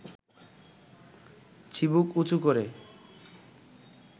চিবুক উঁচু করে